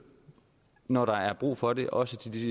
når der er brug for det også til de